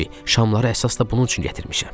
Şamları əsas da bunun üçün gətirmişəm.